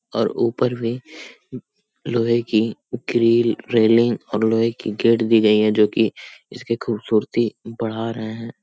और ऊपर भी लोहे की रेल रेलिंग और लोहे की गेट दी गई है जो कि इसकी खूबसूरती बढ़ा रहे हैं।